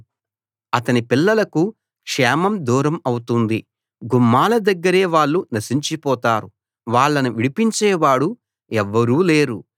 అతని పిల్లలకు క్షేమం దూరం అవుతుంది గుమ్మాల దగ్గరే వాళ్ళు నశించిపోతారు వాళ్ళను విడిపించేవాడు ఎవ్వరూ లేరు